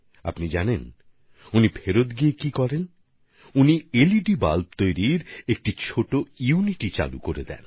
আপনারা জানেন ফিরে আসার পরে প্রমোদজি কী করেছেন তিনি স্বয়ং এলইডি বাল্ব তৈরি করার একটা ছোট ইউনিট শুরু করে দেন